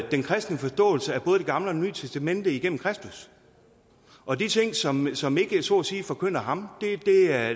den kristne forståelse af både det gamle og det nye testamente igennem kristus og de ting som som ikke så at sige forkynder ham